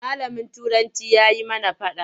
Malamin Turanci ya yi mana faɗa.